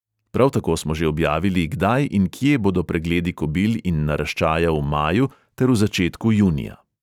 Prav tako smo že objavili, kdaj in kje bodo pregledi kobil in naraščaja v maju ter v začetku junija.